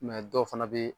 dɔw fana bɛ yen